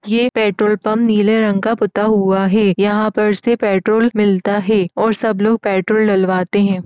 ये petrol pump नीले रंग का पुता हुआ हे । यहां पर से पेट्रोल मिलता हे और सब लोग पेट्रोल डलवाते हैं।